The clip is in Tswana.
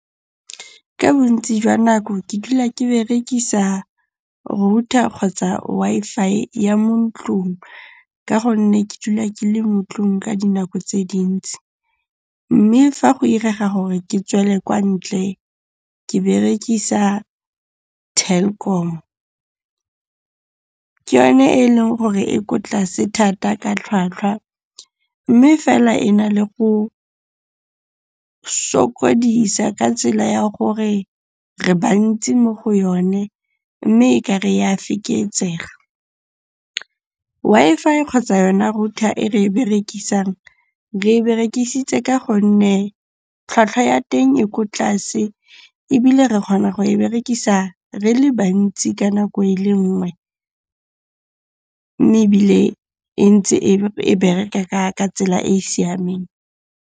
Ka bontsi jwa nako ke dula ke berekisa router kgotsa Wi-Fi ya mo ntlong ka gonne ke dula ke le mo 'tlong ka dinako tse dintsi. Mme fa go irega gore ke tswele kwa ntle, ke berekisa Telkom. Ke yone e leng gore e ko tlase thata ka tlhwatlhwa mme fela e na le go sokodisa ka tsela ya gore re bantsi mo go yone mme e ka re e a feketsega. Wi-Fi kgotsa yona router e re e berekisang, re e berekisitse ka gonne tlhwatlhwa ya teng e ko tlase ebile re kgona go e berekisa re le bantsi ka nako e le nngwe. Mme ebile e ntse e bereka ka tsela e e siameng.